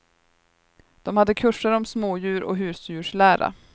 De hade kurser om smådjur och husdjurslära.